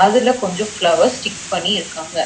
அதுல கொஞ்சொ flowers stick பண்ணி இருக்காங்க.